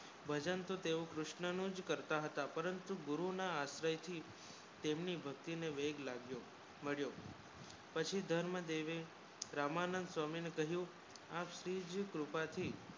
ભજન થી તેવુ કૃષ્ણુજ કરતા હતા પ્રાંતુ ગુરુ ના આશ્રય થી તે માની ભક્તિ ને વેગ લગ્યો માલ્યો પછી ધર્મ દેવે રામાનંદ સ્વામી ને કહિયુ આશિજ કૃપા થી